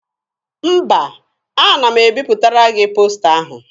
Mba, ana m ebipụtara gị posta ahụ.